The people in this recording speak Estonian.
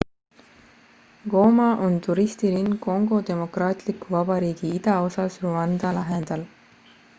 goma on turistilinn kongo demokraatliku vabariigi idaosas rwanda lähedal